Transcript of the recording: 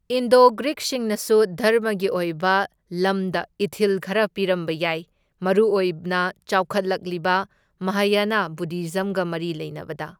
Indo ꯒ꯭ꯔꯤꯛꯁꯤꯡꯅꯁꯨ ꯙꯔꯃꯒꯤ ꯑꯣꯏꯕ ꯂꯃꯗ ꯏꯊꯤꯜ ꯈꯔ ꯄꯤꯔꯝꯕ ꯌꯥꯏ, ꯃꯔꯨꯑꯣꯏꯅ ꯆꯥꯎꯈꯠꯂꯛꯂꯤꯕ ꯃꯍꯌꯥꯅ ꯕꯨꯙꯤꯖꯝꯒ ꯃꯔꯤ ꯂꯩꯅꯕꯗ꯫